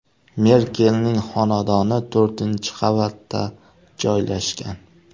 Merkelning xonadoni to‘rtinchi qavatda joylashgan.